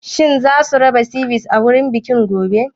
Shin zasu raba Sivice a wurin bikin gobe?